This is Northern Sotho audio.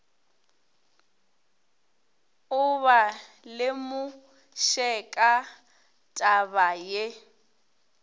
o ba lemoše ka tabaye